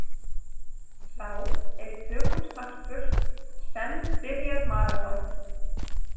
Sá er í tökum snarpur senn byrjar maraþon.